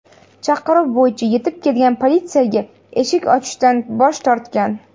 Chaqiruv bo‘yicha yetib kelgan politsiyaga eshik ochishdan bosh tortgan.